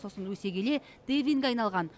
сосын өсе келе дэвинге айналған